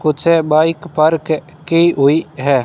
कुछ bike park की हुई है।